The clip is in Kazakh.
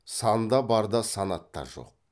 санда бар да санатта жоқ